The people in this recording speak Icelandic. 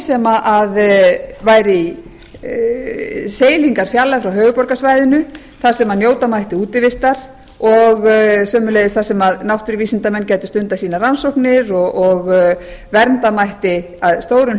sem væri í seilingarfjarlægð frá höfuðborgarsvæðinu þar sem njóta mætti útivistar og sömuleiðis þar sem náttúruvísindamenn gætu stundað sínar rannsóknir og vernda mætti að stórum